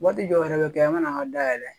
Waati dɔw yɛrɛ bɛ kɛ an ka na an ka dayɛlɛ